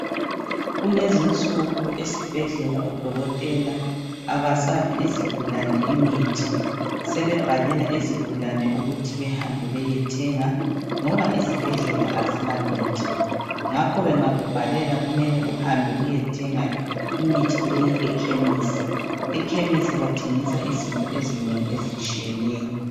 Kulezi insuku esibhedlela odokotela abasaphi izigulane imithi sebebhalela izigulane ukuthi behambe beyethenga ngoba izibhedlela azilamithi ngakho bengakubhalela kumele uhambe uyethenga imithi leyi ekhemisi ekhemisi bathengisa izinto ezinengi ezitshiyeneyo